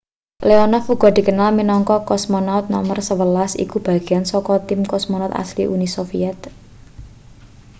leonov uga dikenal minangka cosmonaut no 11 iku bagean saka tim cosmonaut asli uni soviet